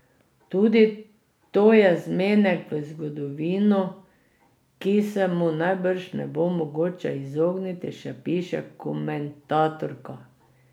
Tudi to je zmenek z zgodovino, ki se mu najbrž ne bo mogoče izogniti, še piše komentatorka.